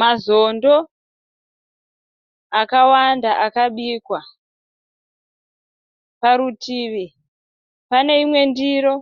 Mazondo akawanda akabikwa. Parutivi pane imwe ndiro